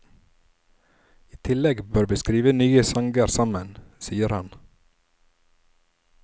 I tillegg bør vi skrive nye sanger sammen, sier han.